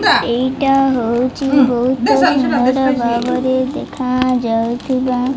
ଏଇଟା ହଉଛି ବହୁତ ସୁନ୍ଦର ଭାବରେ ଦେଖାଯାଉଥିବା --